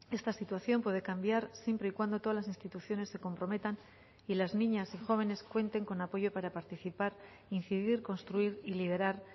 esta situación puede cambiar siempre y cuando todas las instituciones se comprometan y las niñas y jóvenes cuenten con apoyo para participar incidir construir y liderar